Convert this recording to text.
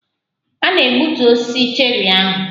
A na-egbutu osisi cherri ahụ.